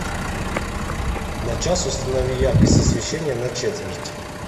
на час установи яркость освещения на четверть